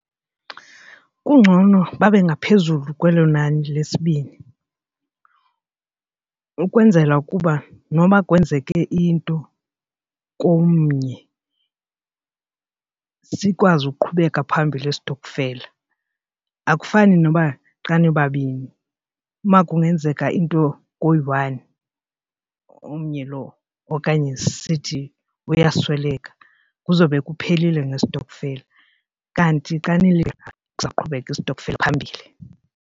Kungcono babe ngaphezulu kwelo nani lesibini ukwenzela ukuba noba kwenzeke into komnye sikwazi ukuqhubeka phambili istokfela. Akufani noba xa nibabini makungenzeka into koyi-one omnye lo okanye sithi uyasweleka kuzowube kuphelile ngestokfela kanti xa saqhubeka isitokfela phambili.